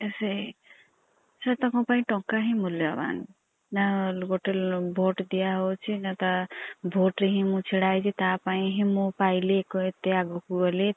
ସେଇ । ତାଙ୍କ ପାଇଁ ଟଙ୍କା ହିଁ ମୁଲୟବାନ୍। ନାଁ ଗୋଟେ vote ଦିଆ ହଉଛି ନାଁ ତା vote ରେ ମୁଁ ଛିଡା ହେଇଛି ତା ପାଇଁ ହିଁ ପାଇଲି ଏତେ ଆଗକୁ ଗଲୀ